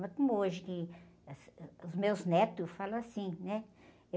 Não é como hoje, que, as, ãh, os meus netos falam assim, né?